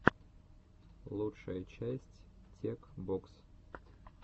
лучшая часть тек бокс